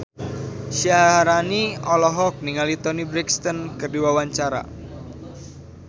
Syaharani olohok ningali Toni Brexton keur diwawancara